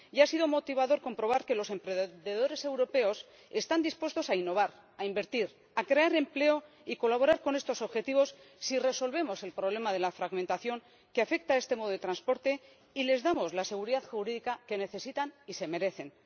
Y ha sido motivador comprobar que los emprendedores europeos están dispuestos a innovar, a invertir, a crear empleo y a colaborar con estos objetivos si resolvemos el problema de la fragmentación que afecta a este modo de transporte y les damos la seguridad jurídica que necesitan y se merecen.